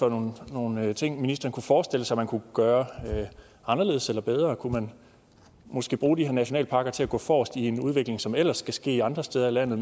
for nogle ting ministeren kunne forestille sig man kunne gøre anderledes eller bedre kunne man måske bruge de her nationalparker til at gå forrest i en udvikling som ellers skal ske andre steder i landet